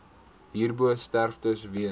hierbo sterftes weens